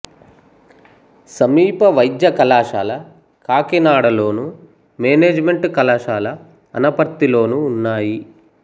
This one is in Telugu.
సమీప వైద్య కళాశాల కాకినాడలోను మేనేజిమెంటు కళాశాల అనపర్తిలోనూ ఉన్నాయి